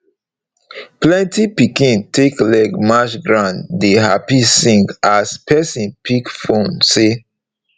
plenty pikin take leg march ground dey happy sing as pesin pick phonesay